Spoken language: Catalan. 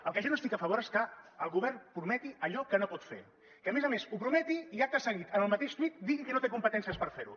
el que jo no estic a favor és que el govern prometi allò que no pot fer que a més a més ho prometi i acte seguit en el mateix tuit digui que no té competències per fer ho